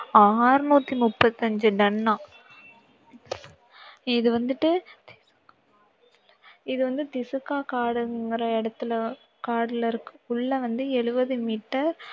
அறுநூத்தி முப்பத்தி அஞ்சு ton னாம். இது வந்துட்டு இது வந்து காடுங்குற இடத்துல காட்டுல இருக்கு உள்ளே வந்து எழுவது meter